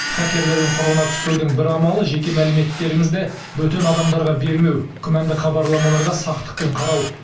хакерлердің құрығына түспеудің бір амалы жеке мәліметтеріңізді бөтен адамдарға бермеу күмәнді хабарламаларға сақтықпен қарау